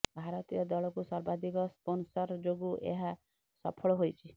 ଭାରତୀୟ ଦଳକୁ ସର୍ବାଧିକ ସ୍ପୋନସର ଯୋଗୁ ଏହା ସଫଳ ହୋଇଛି